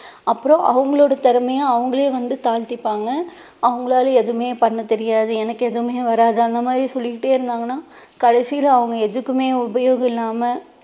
அப்பறம் அவங்களோட திறமைய அவங்களே வந்து தாழ்த்திப்பாங்க. அவங்களால எதுவுமே பண்ண தெரியாது எனக்கு எதுவுமே வராது அந்த மாதிரி சொல்லிக்கிட்டே இருந்தாங்கனா கடைசில அவங்க எதுக்குமே உபயோகம் இல்லாம